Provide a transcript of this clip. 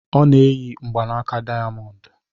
Ọ na-eyi ya mgbanaka dayamondu